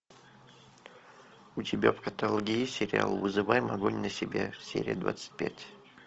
у тебя в каталоге есть сериал вызываем огонь на себя серия двадцать пять